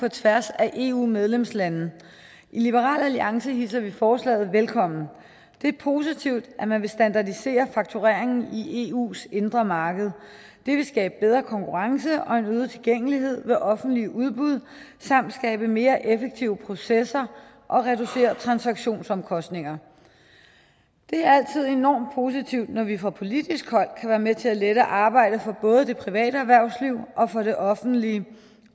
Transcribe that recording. på tværs af eu medlemslandene i liberal alliance hilser vi forslaget velkommen det er positivt at man vil standardisere faktureringen i eus indre marked det vil skabe bedre konkurrence og en øget tilgængelighed ved offentlige udbud samt skabe mere effektive processer og reducere transaktionsomkostningerne det er altid enormt positivt når vi fra politisk hold kan være med til at lette arbejdet for både det private erhvervsliv og for det offentlige